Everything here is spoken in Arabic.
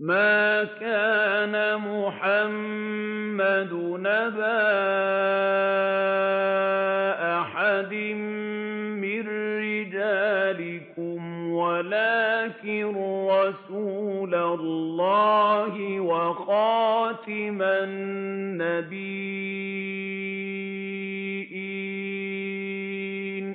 مَّا كَانَ مُحَمَّدٌ أَبَا أَحَدٍ مِّن رِّجَالِكُمْ وَلَٰكِن رَّسُولَ اللَّهِ وَخَاتَمَ النَّبِيِّينَ ۗ